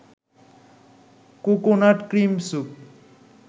coconut cream soup